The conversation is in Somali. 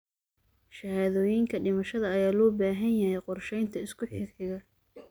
Shahaadooyinka dhimashada ayaa loo baahan yahay qorsheynta isku xigxiga.